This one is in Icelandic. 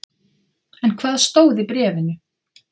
En hvað stóð í bréfinu?